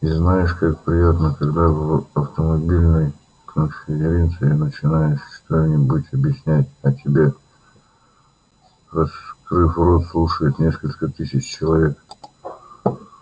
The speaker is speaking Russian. и знаешь как приятно когда в автомобильной конференции начинаешь что-нибудь объяснять а тебе раскрыв рот слушает несколько тысяч человек